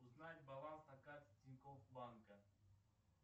узнать баланс на карте тинькофф банка